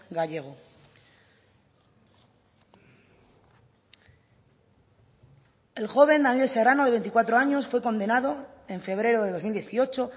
gallego el joven daniel serrano de veinticuatro años fue condenado en febrero de dos mil dieciocho